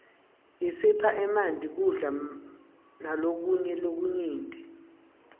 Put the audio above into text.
isipha emanti kudla malokunye lokunyenti